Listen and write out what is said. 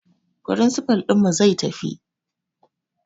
Firinsifal ɗinmu zai tafi